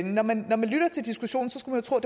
når man lytter til diskussionen skulle man tro at